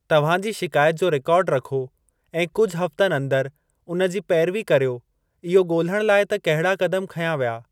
तव्हां जी शिकायत जो रिकार्ड रखो ऐं कुझु हफ़्तनि अंदर उनजी पेरवी कर्यो इहो ॻोलण लाइ त कहिड़ा क़दम खंया विया।